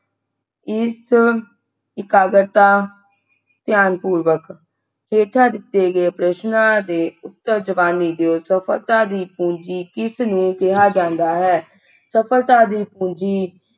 ਇਸ ਇਕਾਗਰਤਾ ਧਿਆਨਪੁਰਵਕ ਹੇਠਾਂ ਦਿੱਤੇ ਗਏ ਪ੍ਰਸ਼ਨਾਂ ਦੇ ਉੱਤਰ ਜ਼ੁਬਾਨੀ ਦੀਓ ਸਫਲਤਾ ਦੀ ਪੂੰਜੀ ਕਿਸ ਨੂੰ ਕਿਹਾ ਜਾਂਦਾ ਹੈ ਸਫਲਤਾ ਦੀ ਪੂੰਜੀ